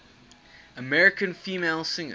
american female singers